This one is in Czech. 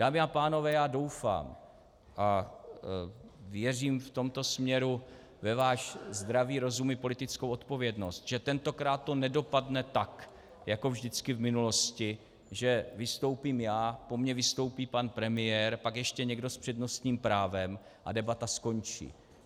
Dámy a pánové, já doufám a věřím v tomto směru ve váš zdravý rozum i politickou odpovědnost, že tentokrát to nedopadne tak jako vždycky v minulosti, že vystoupím já, po mně vystoupí pan premiér, pak ještě někdo s přednostním právem a debata skončí.